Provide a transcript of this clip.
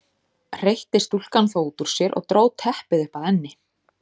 hreytti stúlkan þá út úr sér og dró teppið upp að enni.